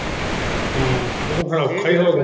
ਹਮ ਇਹ ਤੇ ਫਿਰ ਔਖਾ ਈ ਹੋਗਿਆ।